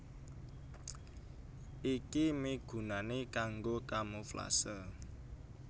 Iki migunani kanggo kamuflase